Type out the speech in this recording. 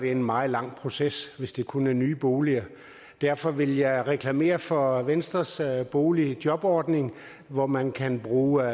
en meget lang proces hvis det kun er for nye boliger derfor vil jeg reklamere for venstres boligjobordning hvor man kan bruge